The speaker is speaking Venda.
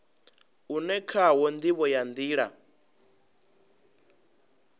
une khawo ndivho ya nila